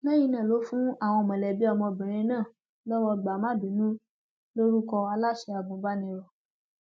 lẹyìn náà ló fún àwọn mọlẹbí ọmọbìnrin náà lọwọ gbà má bínú lórúkọ aláṣẹ agùnbàníró